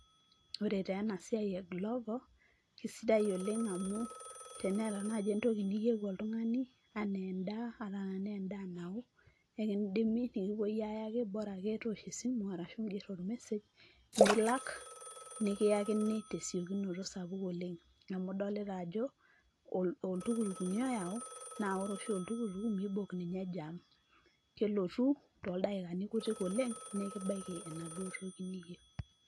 Ore taa ena siai e Glovo kesidai oleng' amu teneeta naji entoki niyeu oltung'ani enaa endaa ata enaa endaa nao, kekindimi nekipuoi ayaki bora ake toosho esimu arashu iing'er or message nilak, nekiyakini te siokinoto sapuk oleng' amu idolita ajo oltukutuk nye oyau naa ore oshi oltukutuk miibok ninye jam kelotu toldaikabi kutik oleng' nekibaiki enaduo toki niyeu.